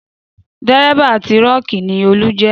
Dérébà tírọ́kì ni Olú jẹ́